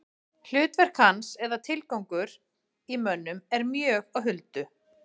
Hlutverk hans eða tilgangur í mönnum er mjög á huldu.